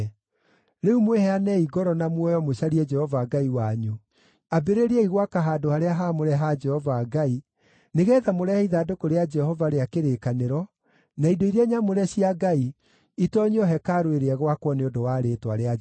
Rĩu mwĩheanei ngoro na muoyo mũcarie Jehova Ngai wanyu. Ambĩrĩriai gwaka handũ-harĩa-haamũre ha Jehova Ngai, nĩgeetha mũrehe ithandũkũ rĩa Jehova rĩa kĩrĩkanĩro na indo iria nyamũre cia Ngai itoonyio hekarũ ĩrĩa ĩgwakwo nĩ ũndũ wa Rĩĩtwa rĩa Jehova.”